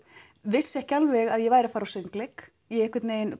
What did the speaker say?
vissi ekki alveg að ég væri að fara á söngleik